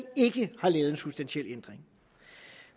ikke har lavet en substantiel ændring